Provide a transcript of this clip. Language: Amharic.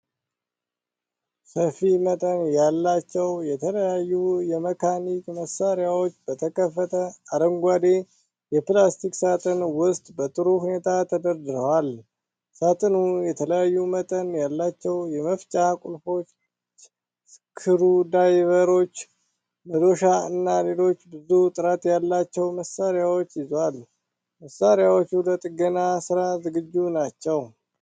ሰፊ መጠን ያላቸው የተለያዩ የመካኒክ መሣሪያዎች በተከፈተ አረንጓዴ የፕላስቲክ ሣጥን ውስጥ በጥሩ ሁኔታ ተደርድረዋል። ሣጥኑ የተለያዩ መጠን ያላቸው የመፍቻ ቁልፎች፣ ስክሩዳይቨሮች፣ መዶሻ እና ሌሎች ብዙ ጥራት ያላቸው መሣሪያዎች ይዟል። መሣሪያዎቹ ለጥገና ሥራ ዝግጁ ናቸዉ።